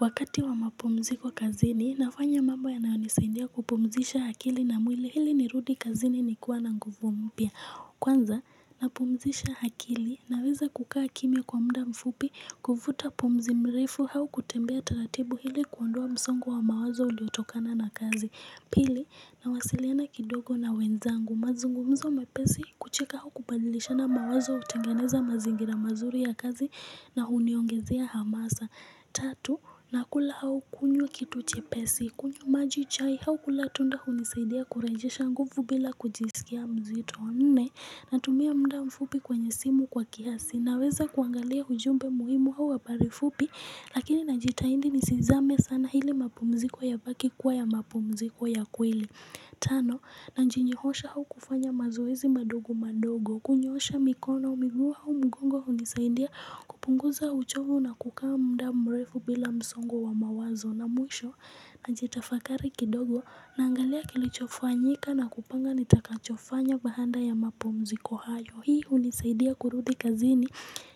Wakati wa mapumziko kazini, nafanya mambo yanayonisaindia kupumzisha akili na mwili hili nirudi kazini ni kuwa na nguvu mpya. Kwanza, napumzisha hakili naweza kukaa kimya kwa muda mfupi kufuta pomzi mrefu hau kutembea taratibu hili kuondoa msongo wa mawazo uliotokana na kazi. Pili, nawasiliana kidogo na wenzangu mazungumzo mepesi kucheka hau kupadilishana mawazo utengeneza mazingira mazuri ya kazi na uniongezea hamasa. Tatu, nakula hau kunywa kitu chepesi, kunywa maji chai hau kula tunda hunisaidia kurejesha nguvu bila kujisikia mzito Nne, natumia muda mfupi kwenye simu kwa kiasi, naweza kuangalia hujumbe muhimu hau habari fupi Lakini najitahindi nisizame sana hili mapumziko yabaki kuwa ya mapumziko ya kweli Tano, nanjinyihosha hau kufanya mazoezi madogo madogo kunyoosha mikono miguu hau mgongo unisaidia kupunguza uchovu na kukaa muda mrefu bila msongo wa mawazo na mwisho na jitafakari kidogo naangalia kilichofanyika na kupanga nitakachofanya bahanda ya mapumziko hayo Hii unisaidia kurudi kazini